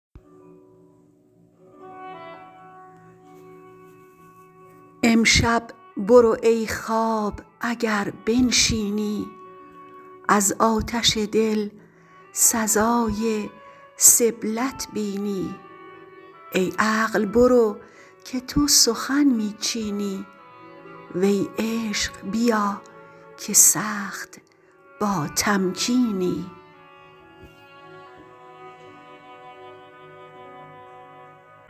امشب برو ای خواب اگر بنشینی از آتش دل سزای سبلت بینی ای عقل برو که تو سخن می چینی وی عشق بیا که سخت با تمکینی